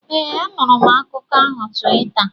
ee, anụrụ m akụkọ ahụ Tuweeta